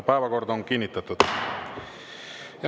Päevakord on kinnitatud.